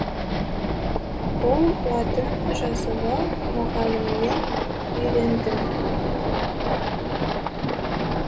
бұл латын жазуы мұғалімнен үйрендім